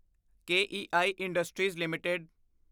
ਕੇਈ industries LTD